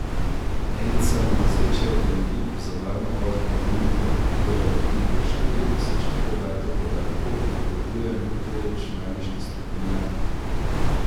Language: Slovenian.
En samovozeči avtomobil bo za varno vožnjo dnevno lahko obdelal tudi do štiri tisoč gigabajtov podatkov, napovedujejo nekateri računalniški strokovnjaki.